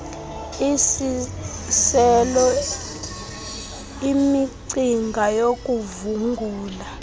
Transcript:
isiselo imicinga yokuvungula